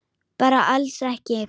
Bara alls ekki.